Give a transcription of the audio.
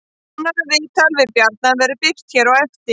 Nánara viðtal við Bjarna verður birt hér á eftir